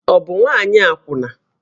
Ọ bụ nwaanyị akwụna?